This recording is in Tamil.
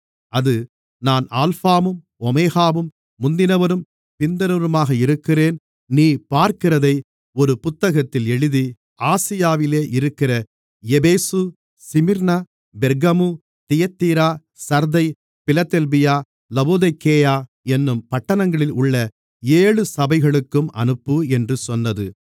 அது நான் அல்பாவும் ஓமெகாவும் முந்தினவரும் பிந்தினவருமாக இருக்கிறேன் நீ பார்க்கிறதை ஒரு புத்தகத்தில் எழுதி ஆசியாவில் இருக்கிற எபேசு சிமிர்னா பெர்கமு தியத்தீரா சர்தை பிலதெல்பியா லவோதிக்கேயா என்னும் பட்டணங்களில் உள்ள ஏழு சபைகளுக்கும் அனுப்பு என்று சொன்னது